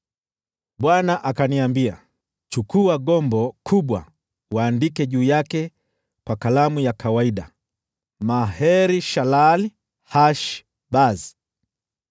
Bwana akaniambia, “Chukua gombo kubwa, uandike juu yake kwa kalamu ya kawaida jina: Maher-Shalal-Hash-Bazi.